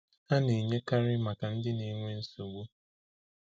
Ha na-enyekarị maka ndị na-enwe nsogbu.